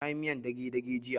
Na yi miyar dage-dage jiya